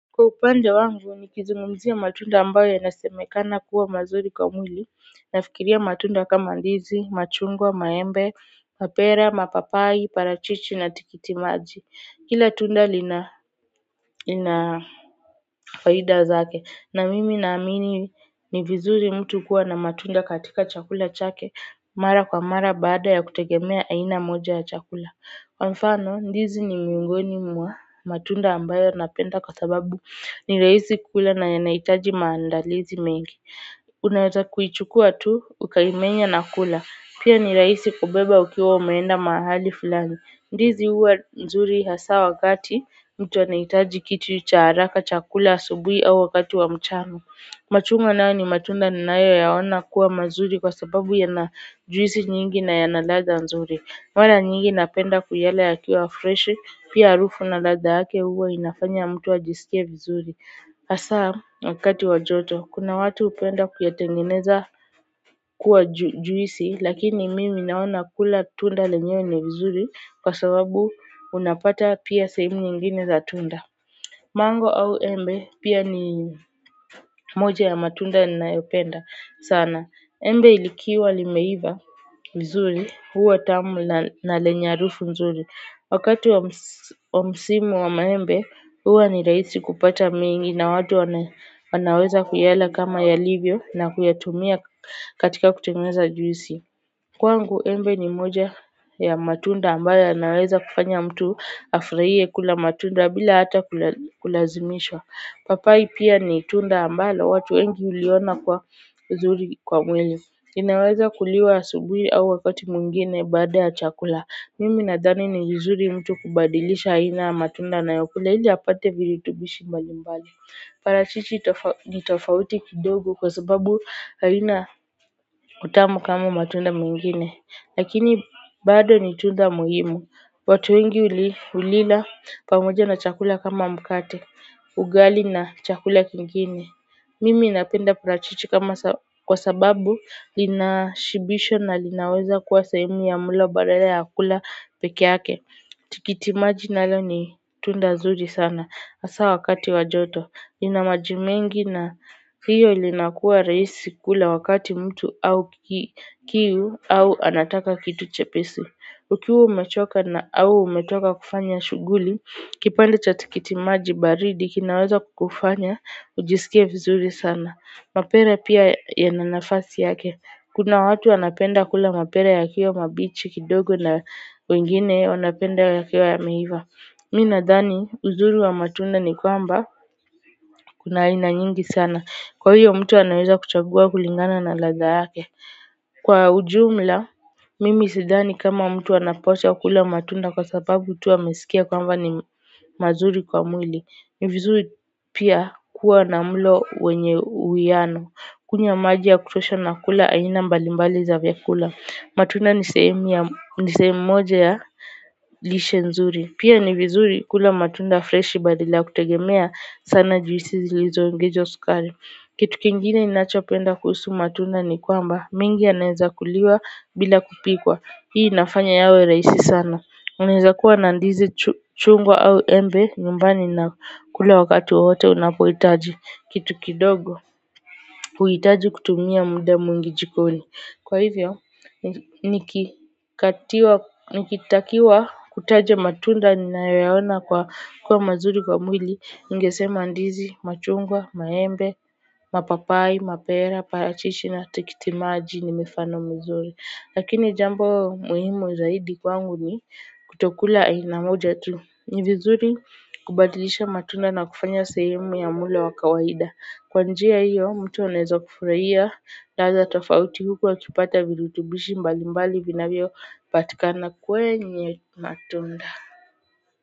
Kwa upande wangu nikizungumzia matunda ambayo yanasemekana kuwa mazuri kwa mwili nafikiria matunda kama ndizi, machungwa, maembe, mapera, mapapai, parachichi na tikiti maji kila tunda lina faida zake na mimi naamini ni vizuri mtu kuwa na matunda katika chakula chake mara kwa mara baada ya kutegemea aina moja ya chakula kwa mfano ndizi ni miongoni mwa matunda ambayo napenda kwa sababu ni rahisi kukula na yanahitaji maandalizi mengi unaeza kuichukua tu ukaimenya na kula pia ni rahisi kubeba ukiwa umeenda mahali fulani ndizi huwa nzuri hasa wakati mtu anahitaji kitu cha haraka cha kula asubuhi au wakati wa mchano machungwa nayo ni matunda ninayo yaona kuwa mazuri kwa sababu yana juisi nyingi na yana ladha nzuri mara nyingi napenda kuyala yakiwa freshi, pia harufu na ladha yake huwa inafanya mtu ajiskie vizuri. Hasaa, wakati wa joto, kuna watu hupenda kuyatengeneza kuwa juisi, lakini mimi naona kula tunda lenyewe ni vizuri kwa sababu unapata pia sehemu nyingine za tunda. Mango au embe pia ni moja ya matunda ninayopenda sana. Embe likiwa limeiva vizuri huwa tamu na lenya harufu mzuri. Wakati wa msimu wa maembe huwa ni rahisi kupata mingi na watu wanaweza kuyala kama yalivyo na kuyatumia katika kutengueza juisi. Kwangu embe ni moja ya matunda ambayo yanaweza kufanya mtu afurahie kula matunda bila hata kulazimishwa. Papai pia ni tunda ambalo watu wengi huliona kuwa nzuri kwa mwili. Inaweza kuliwa asubuhi au wakati mwingine baada ya chakula. Mimi nadhani ni vizuri mtu kubadilisha aina ya matunda anayokula ili apate virutubishi mbali mbali. Parachichi ni tofauti kidogo kwa sababu haina utamu kama matunda mwingine lakini bado ni tunda muhimu watu wengi hulila pamoja na chakula kama mkate ugali na chakula kingine mimi napenda parachichi kama kwa sababu lina shibisho na linaweza kuwa sahemu ya mulo badala ya kula peke yake. Tikitimaji nalo ni tunda nzuri sana hasa wakati wa joto lina majimengi na hiyo linakua rahisi kula wakati mtu au kiuu au anataka kitu chepesi. Ukiwa umechoka na au umetoka kufanya shughuli, kipande cha tikitimaji baridi kinaweza kukufanya, ujiskie vizuri sana. Mapera pia yana nafasi yake. Kuna watu wanapenda kula mapera yakiwa mabichi kidogo na wengine wanapenda yakiwa yameiva. Mi nadhani uzuri wa matunda ni kwamba kuna aina nyingi sana kwa hiyo mtu anaeza kuchagua kulingana na ladha yake kwa ujumla mimi sidhani kama mtu anapaswa kula matunda kwa sababu tu amesikia kwamba ni mazuri kwa mwili ni vizuri pia kuwa na mlo wenye uwiano kunywa maji ya kutosha na kula aina mbalimbali za vyakula matunda ni sehemu moja ya lishe nzuri pia ni vizuri kula matunda freshi badala ya kutegemea sana juisi zilizo ongezwa sukari kitu kingine ninachopenda kuhusu matunda ni kwamba mengi yanaeza kuliwa bila kupikwa hii inafanya yawe rahisi sana unaeza kuwa na ndizi chungwa au embe nyumbani na kula wakati wowote unapohitaji kitu kidogo huitaji kutumia muda mwingi jikoni kwa hivyo nikitakiwa kutaja matunda ninayo yaona kuwa mazuri kwa mwili ningesema ndizi machungwa, maembe, mapapai, mapera, parachichi na tikitimaji ni mifano mizuri lakini jambo muhimu zaidi kwangu ni kutokula aina moja tu ni vizuri kubadilisha matunda na kufanya sehemu ya mulo wa kawaida kwa njia hiyo mtu anaeza kufurahia ladha tofauti huku akipata virutubishi mbali mbali vinavyo patikana kwenye matunda.